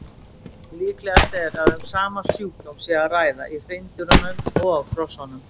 Líklegast er að um sama sjúkdóm sé að ræða í hreindýrunum og hrossunum.